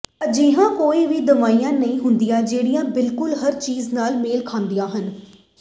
ਅਜਿਹੀਆਂ ਕੋਈ ਵੀ ਦਵਾਈਆਂ ਨਹੀਂ ਹੁੰਦੀਆਂ ਜਿਹੜੀਆਂ ਬਿਲਕੁਲ ਹਰ ਚੀਜ ਨਾਲ ਮੇਲ ਖਾਂਦੀਆਂ ਹੋਣ